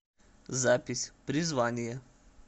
запись призвание